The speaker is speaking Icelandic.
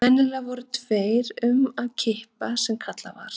Venjulega voru tveir um að kippa sem kallað var.